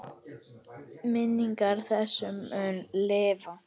Minning þessi mun lifa.